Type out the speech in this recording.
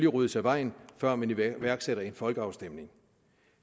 ryddes af vejen før man iværksætter en folkeafstemning